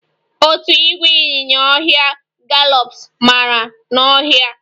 Otu ìgwè ịnyinya ọhịa gallops amara n'ọhịa